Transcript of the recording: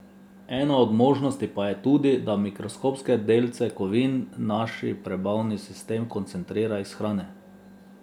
Ena od možnosti pa je tudi, da mikroskopske delce kovin naš prebavni sistem koncentrira iz hrane.